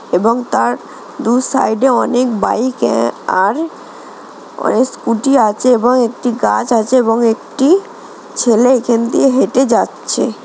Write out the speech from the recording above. এবং তার দু সাইডে অনেক বাইক আর অনক স্কুটি আছে এবং একটি গাছ আছে এবং একটি -ছেলে এখান দিয়ে হেঁটে যাচ্ছে।